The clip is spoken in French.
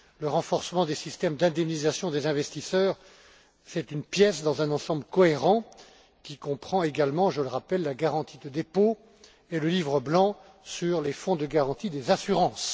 Le renforcement des systèmes d'indemnisation des investisseurs est une pièce dans un ensemble cohérent qui comprend également je le rappelle la garantie des dépôts et le livre blanc sur les fonds de garantie des assurances.